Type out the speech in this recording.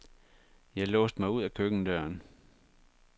Jeg låste mig ud ad køkkendøren.